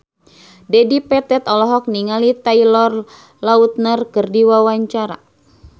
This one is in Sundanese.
Dedi Petet olohok ningali Taylor Lautner keur diwawancara